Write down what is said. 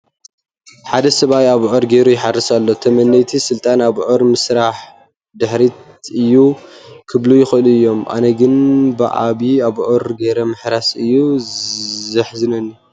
ሓደ ሰብኣይ ብኣብዑር ገይሩ ይሓርስ ኣሎ፡፡ ተመነይቲ ስልጣነ ብኣብዑር ምሕራስ ድሕረት እዩ ክብሉ ይኽእሉ እዮም፡፡ ኣነ ግን ብዒባሩ ኣብዑር ገይሩ ምሕራሱ እዩ ዘሕዝነኒ፡፡